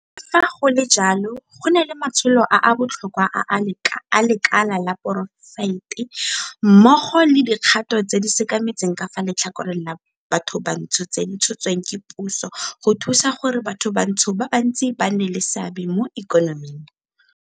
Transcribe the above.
Le fa go le jalo, go na le matsholo a a botlhokwa a lekala la poraefete mmogo le dikgato tse di sekametseng ka fa letlhakoreng la bathobantsho tse di tshotsweng ke puso go thusa gore bathobantsho ba bantsi ba nne le seabe mo ikonoming.